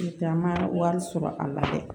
taa ma wari sɔrɔ a la dɛ